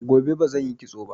Gobe bazan yi kitsoba